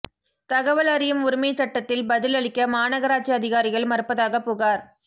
தகவல் அறியும் உரிமைச் சட்டத்தில் பதில் அளிக்க மாநகராட்சி அதிகாரிகள் மறுப்பதாகப் புகாா்